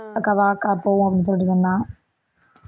அக்கா வாக்கா போவோம் அப்படின்னு சொல்லிட்டு சொன்னா